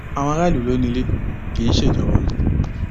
àwọn aráàlú ló ni ilé kì í ṣe ìjọba